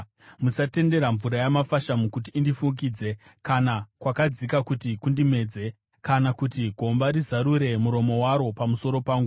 Musatendera mvura yamafashamu kuti indifukidze, kana kwakadzika kuti kundimedze kana kuti gomba rizarure muromo waro pamusoro pangu.